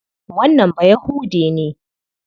Wannan Bayahude ne.